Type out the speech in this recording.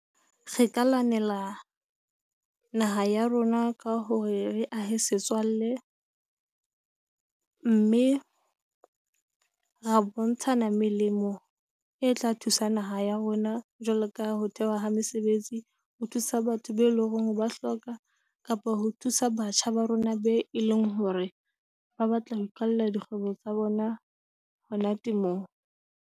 Re ka lwanela naha ya rona ka hore re ahe setswalle mme ra bontshana melemo e tla thusa naha ya rona jwalo ka ho thehwa ha mesebetsi, ho thusa batho be leng hore ba hloka, kapa ho thusa batjha ba rona be e leng hore ba batla ho iqalla dikgwebo tsa bona. Monate mo